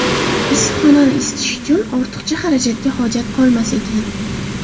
Issiqxonani isitish uchun ortiqcha xarajatga hojat qolmas ekan.